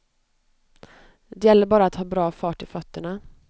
Det gäller bara att ha bra fart i fötterna.